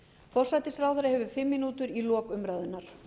forsætisráðherra hefur fimm mínútur í lok umræðunnar